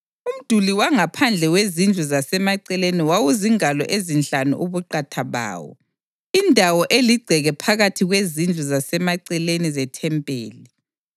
Umduli wangaphandle wezindlu zasemaceleni wawuzingalo ezinhlanu ubuqatha bawo. Indawo eligceke phakathi kwezindlu zasemaceleni zethempeli